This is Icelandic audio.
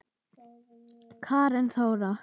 Karen Þóra.